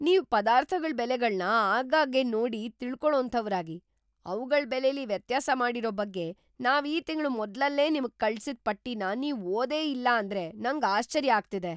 ನೀವು ಪದಾರ್ಥಗಳ್ ಬೆಲೆಗಳ್ನ ಆಗಾಗ್ಗೆ ನೋಡಿ ತಿಳ್ಕೊಳೋಂಥವ್ರಾಗಿ, ಅವ್ಗಳ್‌ ಬೆಲೆಲಿ ವ್ಯತ್ಯಾಸ ಮಾಡಿರೋ ಬಗ್ಗೆ ನಾವ್‌ ಈ ತಿಂಗ್ಳ ಮೊದ್ಲಲ್ಲೇ ನಿಮ್ಗ್‌ ಕಳ್ಸಿದ್‌ ಪಟ್ಟಿನ ನೀವ್‌ ಓದೇ ಇಲ್ಲ ಅಂದ್ರೆ ನಂಗ್‌ ಆಶ್ಚರ್ಯ ಆಗ್ತಿದೆ.